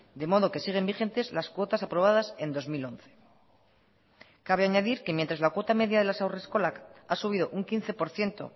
de modo que siguen vigentes las cuotas aprobadas en dos mil once cabe añadir que mientras la cuota media de las haurreskolak ha subido un quince por ciento